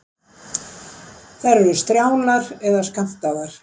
Þær eru strjálar eða skammtaðar.